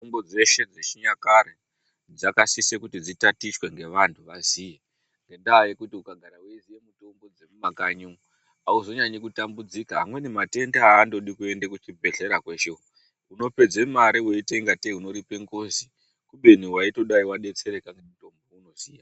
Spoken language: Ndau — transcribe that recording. Mitombo dzeshe dzechinyakare dzakasise kuti dzitatichwe ngevantu vaziye. Ngendaa yekuti ukagara weiziya mitombo dzemumakanyi umu hauzonyanyi kutambudzika. Amweni matenda haandodi kuende kuchibhedhlera kweshe uko, unopedze mari weiita ingatei unoripe ngozi. Kubeni waitodai wadetsereka ngemitombo weunoziya.